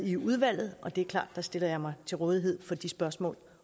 i udvalget og det er klart jeg stiller mig til rådighed for de spørgsmål